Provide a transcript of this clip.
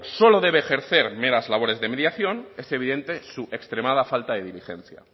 solo debe ejercer meras labores de mediación es evidente su extremada falta de diligencia